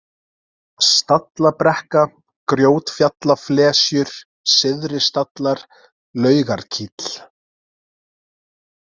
Stallabrekka, Grjótfjallaflesjur, Syðri-Stallar, Laugarkíll